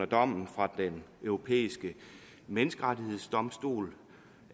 dommen fra den europæiske menneskerettighedsdomstol